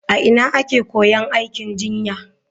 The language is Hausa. A ina ake koyon aikin jinya?